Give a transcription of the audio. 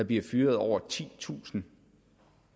bliver fyret over titusind